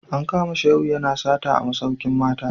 An kama Shehu yana sata a masaukin mata